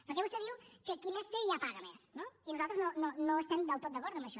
perquè vostè diu que qui més té ja paga més no i nosaltres no estem del tot d’acord amb això